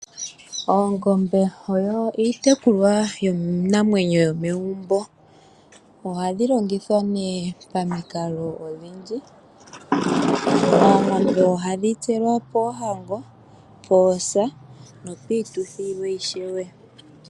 Oongombe oyo iitekulwa namwenyo yomegumbo, ohadhi longithwa pamikalo odhindji oongombe ohadhi tselwa poohango, poosa nopituthi yilwe ishewe.